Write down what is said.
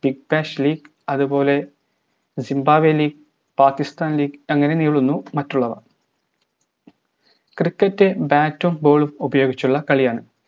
അതുപോലെ ചിന്താവേലി Pakistan league അങ്ങനെ നീളുന്നു മറ്റുള്ളവ cricket bat ഉം ball ഉം ഉപയോഗിച്ചുള്ള കളിയാണ്